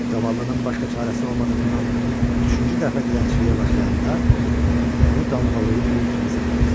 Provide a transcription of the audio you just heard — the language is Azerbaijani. Zavallının başqa çarəsi olmadığından üçüncü dəfə dilənçiliyə başlayanda onu damğalayıb qul kimi satırlar.